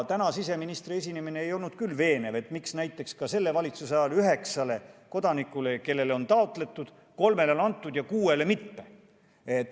Tänane siseministri esinemine ei olnud küll veenev, et miks näiteks selle valitsuse ajal on üheksast kodakondsust taotlenud isikust kolmele see antud ja kuuele mitte.